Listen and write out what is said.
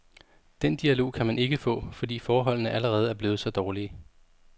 Den dialog kan man ikke få, fordi forholdene allerede er blevet så dårlige.